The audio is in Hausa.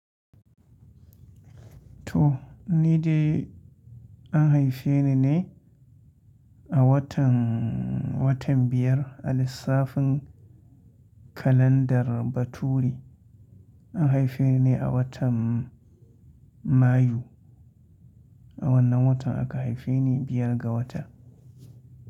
To, ni dai an haife ni ne a watan, watan biyar a lissafin kalandar baturi. An haife ni ne a watan Mayu, a wannan watan aka haife ni biyar ga wata.